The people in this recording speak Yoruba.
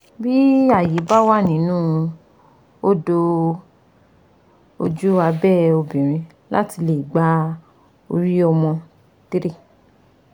Bí ààyè bá wà nínú odò ojú abẹ́ obìnrin láti lè gba orí ọmọ three